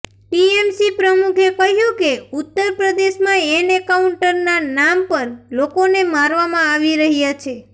TMC પ્રમુખે કહ્યું કે ઉત્તર પ્રદેશમાં એનકાઉન્ટરના નામ પર લોકોને મારવામાં આવી રહ્યા છે